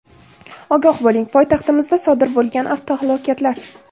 Ogoh bo‘ling: poytaxtimizda sodir bo‘lgan avtohalokatlar.